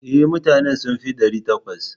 E, mutanen sun fi ɗari takwas.